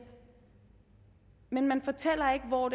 men man fortæller ikke hvor